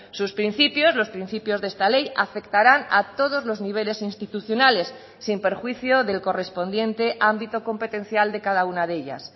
sus principios los principios de esta ley afectarán a todos los niveles institucionales sin perjuicio del correspondiente ámbito competencial de cada una de ellas